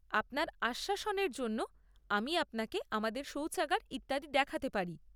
আপনার আশ্বাসনের জন্য আমি আপনাকে আমাদের সৌচাগার ইত্যাদি দেখাতে পারি।